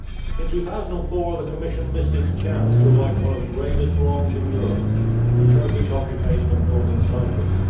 In 2004, the Commission missed its chance to right one of the gravest wrongs in Europe the Turkish occupation of Northern Cyprus.